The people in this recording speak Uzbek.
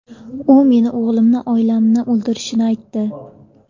U meni, o‘g‘limni, oilamni o‘ldirishini aytdi.